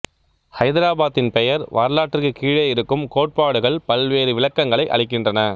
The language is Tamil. ஐதராபாத்தின் பெயர் வரலாற்றுக்குக் கீழே இருக்கும் கோட்பாடுகள் பல்வேறு விளக்கங்களை அளிக்கின்றன